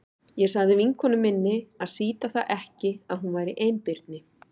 Ég sagði vinkonu minni að sýta það ekki að hún væri einbirni.